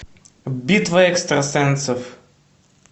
битва экстрасенсов